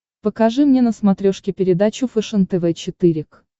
покажи мне на смотрешке передачу фэшен тв четыре к